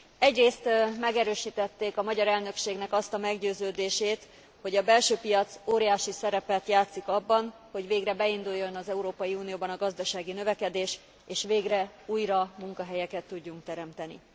Egyrészt megerősítették a magyar elnökségnek azt a meggyőződését, hogy a belső piac óriási szerepet játszik abban, hogy végre beinduljon az Európai Unióban a gazdasági növekedés, és végre újra munkahelyeket tudjunk teremteni.